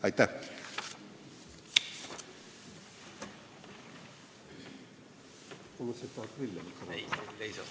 Aitäh!